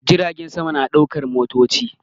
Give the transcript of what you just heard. Jiragen sama na ɗaukar motoci